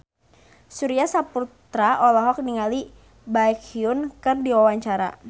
Surya Saputra olohok ningali Baekhyun keur diwawancara